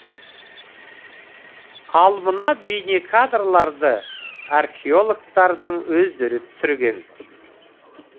ал мына бейнекадрларды археологтардың өздері түсірген